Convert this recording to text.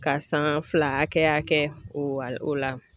Ka san fila hakɛya kɛ o la